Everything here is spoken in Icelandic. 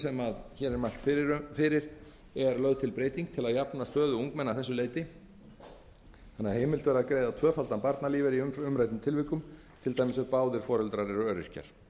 sem ég mæli fyrir hér er lögð til breyting til að jafna stöðu ungmenna að þessu leyti þannig að heimilt verði að greiða tvöfaldan barnalífeyri í umræddum tilvikum til dæmis ef báðir foreldrar eru öryrkjar